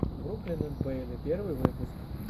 бруклин энд бэйли первый выпуск